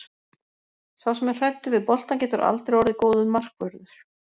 Sá sem er hræddur við boltann getur aldrei orðið góður markvörður.